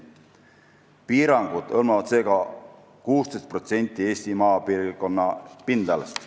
Piirangud hõlmavad seega 16% Eesti maapiirkonna pindalast.